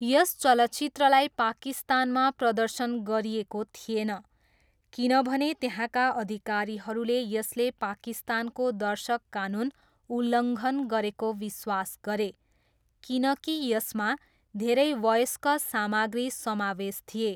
यस चलचित्रलाई पाकिस्तानमा प्रदर्शन गरिएको थिएन किनभने त्यहाँका अधिकारीहरूले यसले पाकिस्तानको दर्शक कानुन उल्लङ्घन गरेको विश्वास गरे किनकि यसमा धेरै वयस्क सामग्री समावेश थिए।